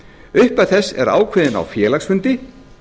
upphæð þess er ákveðin á félagsfundi